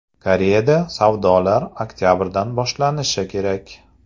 Koreyada savdolar oktabrdan boshlanishi kerak.